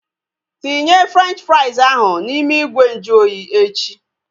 Tinye Frenchi frais ahu n'ime ìgwè nju oyi echi!